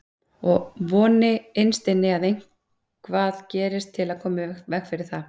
Og voni innst inni að eitthvað gerist til að koma í veg fyrir það.